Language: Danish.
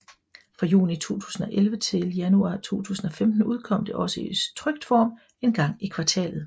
Fra juni 2011 til januar 2015 udkom det også i trykt form en gang i kvartalet